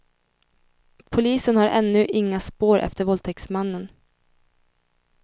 Polisen har ännu inga spår efter våldtäktsmannen.